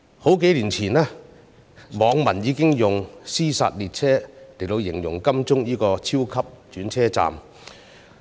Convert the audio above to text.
數年前，網民已經用"屍殺列車"來形容金鐘站這個超級轉車站。